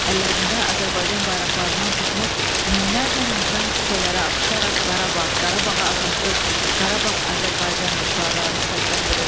Əllərində Azərbaycan bayraqlarından tutmuş minlərlə insan küçələrə axışaraq Qarabağ, Qarabağa azadlıq, Qarabağ Azərbaycandır şüarlarını səsləndirirdilər.